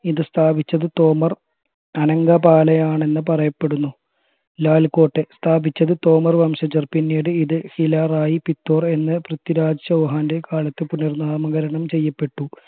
ഇത് സ്ഥാപിച്ചത് തോമർ യാണെന്ന് പറയപ്പെടുന്നു ലാൽ കോട്ടയം സ്ഥാപിച്ചത് തോമർ വംശജർ പിന്നീട് ഇത് ഹിലാറായി പിത്തോറ എന്ന് പൃഥ്വിരാജ് ചൗഹാന്റെ കാലത്ത് പുനർനാമകരണം ചെയ്യപ്പെട്ടു